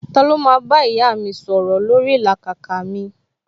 Ta ló máa bá ìyá mi sọ̀rọ̀ lórí ìlàkàkà mi